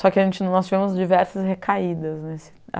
Só que a gente, nós tivemos diversas recaídas, nesse